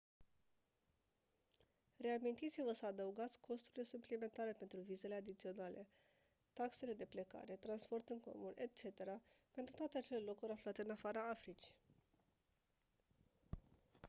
reamintiți-vă să adăugați costurile suplimentare pentru vizele adiționale taxele de plecare transport în comun etc pentru toate acele locuri aflate în afara africii